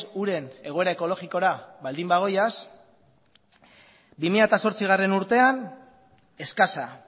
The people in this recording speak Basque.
uren egoera ekologikora baldin bagoaz bi mila zortzigarrena urtean eskasa